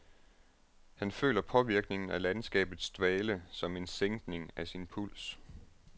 Han føler påvirkningen af landskabets dvale som en sænkning af sin puls.